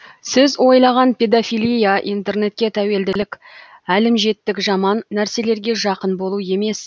сіз ойлаған педофилия интернетке тәуелділік әлімжеттік жаман нәрселерге жақын болу емес